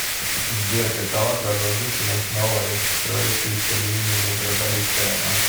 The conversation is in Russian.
сбер какова продолжительность новой строящейся линии метрополитена